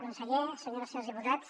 conseller senyores i senyors diputats